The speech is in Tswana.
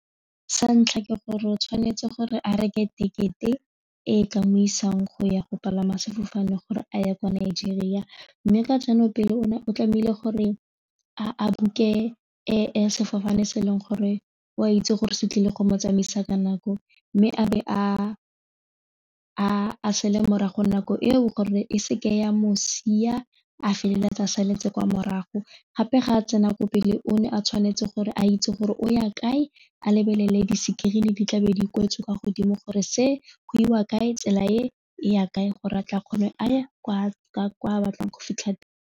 Sa ntlha ke gore o tshwanetse gore a reke tekete e tla mo isang go ya go palama sefofane gore a ye kwa Nigeria mme ka jaanong pele o ne o tlameile gore a book-e sefofane se e leng gore o a itse gore se tlile go mo tsamaisa ka nako mme a be a sele morago nako eo gore e seke ya mo sia a feleletsa a saletse kwa morago gape ga a tsena ko pele o ne a tshwanetse gore a itse gore o ya kae a lebelele di-screen di tlabe di kwetswe kwa godimo gore se go iwa kae tsela e ya kae gore a tla kgone a ye ko a batlang go fitlha teng.